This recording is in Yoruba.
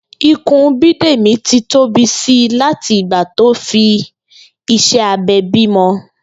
Ikùn Bídèmí ti tóbi si láti ìgbà tó fi iṣẹ́ abẹ bímọ